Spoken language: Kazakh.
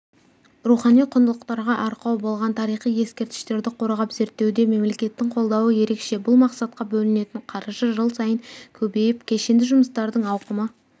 рухани құндылықтарға арқау болған тарихи ескерткіштерді қорғап зерттеуде мемлекеттің қолдауы ерекше бұл мақсатқа бөлінетін қаржы жыл сайын көбейіп кешенді жұмыстардың ауқымы